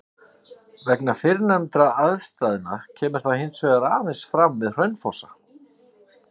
Vegna fyrrnefndra aðstæðna kemur það hins vegar aðeins fram við Hraunfossa.